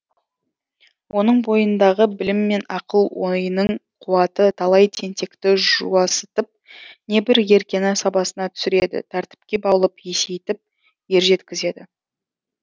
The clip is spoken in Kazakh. оның бойындағы білім мен ақыл ойының қуаты талай тентекті жуасытып небір еркені сабасына түсіреді тәртіпке баулып есейтіп ержеткізеді